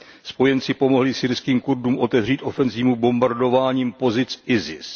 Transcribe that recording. Spojenci pomohli syrským Kurdům otevřít ofenzívu bombardováním pozic ISIS.